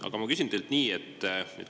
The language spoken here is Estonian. Aga ma küsin teilt nii.